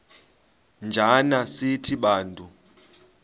njana sithi bantu